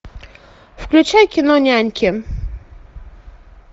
включай кино няньки